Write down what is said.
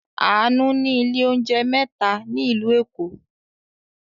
Àánú ní ilé-oúnjẹ mẹ́ta ní ìlú Èkó.